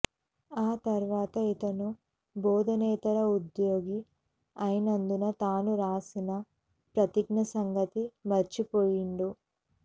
ఆ తర్వాత ఇతను బోధనేతర ఉద్యోగి అయినందున తాను రాసిన ప్రతిజ్ఞ సంగతి మర్చిపోయిండు